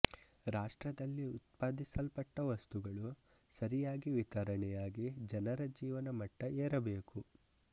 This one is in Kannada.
ರಾಷ್ಟ್ರದಲ್ಲಿ ಉತ್ಪಾದಿಸಲ್ಪಟ್ಟ ವಸ್ತುಗಳು ಸರಿಯಾಗಿ ವಿತರಣೆಯಾಗಿ ಜನರ ಜೀವನ ಮಟ್ಟ ಏರ ಬೇಕು